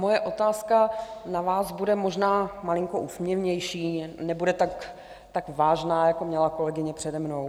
Moje otázka na vás bude možná malinko úsměvnější, nebude tak vážná, jako měla kolegyně přede mnou.